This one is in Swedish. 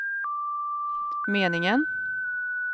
meningen